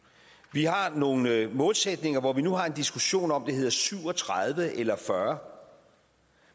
vi har nogle målsætninger hvor vi nu har en diskussion om hvorvidt det hedder syv og tredive eller fyrre